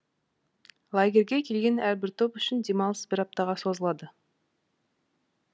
лагерьге келген әрбір топ үшін демалыс бір аптаға созылады